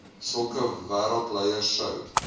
sulke wêreldleiers sou